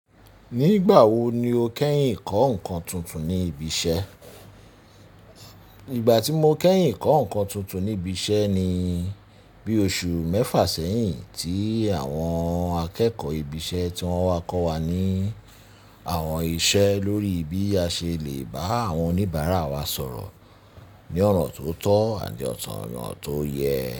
Nígbà wo ni o kẹ́yìn kọ́ ǹkan tuntun ní ibi iṣẹ́? Ìgbà tí mo kẹ́yìn kọ́ ǹkan tuntun ní ibi iṣẹ́ ni bí oṣù mẹ́fà sẹ́yìn tí àwọn akẹ́kọ̀ọ́ ibi iṣẹ́ ti wọ́n wá kọ́ wa ní àwọn iṣẹ́ lórí bí a ṣe lè bá àwọn oníbàárà wa sọ̀rọ̀ ní ọ̀nọ̀ tó tọ́ àti ọ̀nọ̀ọ̀tọ̀ yẹn.